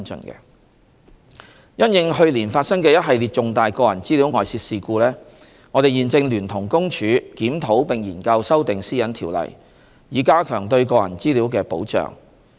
三因應去年發生的一系列重大個人資料外泄事故，我們現正聯同公署檢討並研究修訂《私隱條例》，以加強對個人資料的保障。